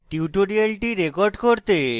tutorial record করতে